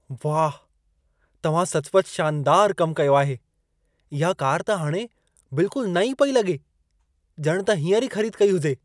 वाह! तव्हां सचु पचु शानदारु कमु कयो आहे। इहा कार त हाणे बिल्कुलु नईं पेई लॻे। ॼण त हींअर ई ख़रीद कई हुजे।